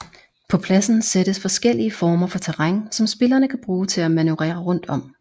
På pladen sættes forskellige former for terræn som spillerne kan bruge til at manøvrere rundt om